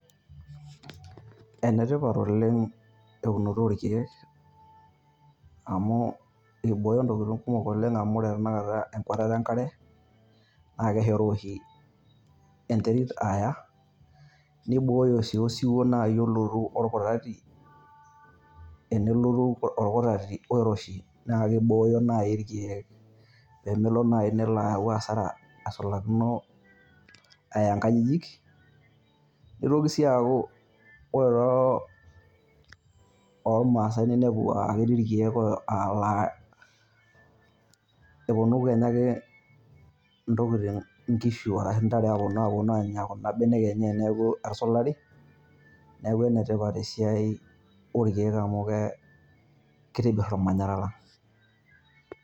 Enetipat oleng eunoto oo ilkiek, amu eibooyo ntokitin kumok oleng amu ore tenakata ekwatata e nkare naa keshoroo oshi enterit neibooyo sii osiwuo olotu o lkutati enolotu olkutati oiroshi naa kibooyo naaji ilkiek pee melo naaji nelo ayau hasara asulakino nkajijik. Neitoki sii aaku ore too ilmaasai ninepu aaa ketii ilkiek laa keponu kenya ake ntokitin nkishu arashu ntare aaponu aponu aanya kuna benek enye teniaku etusulari. Neeku enetipat esiai oo ilkiek amu kitobirr olmanyara lang.